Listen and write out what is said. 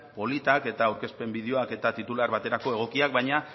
politak eta aurkezpen bideoak eta titular baterako egokiak baina